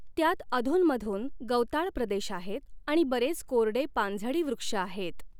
त्यात अधुनमधून गवताळ प्रदेश आहेत आणि बरेच कोरडे पानझडी वृक्षआहेत.